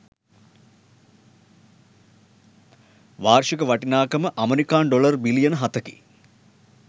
වාර්ෂික වටිනාකම ඇමෙරිකානු ඩොලර් බිලියන හතකි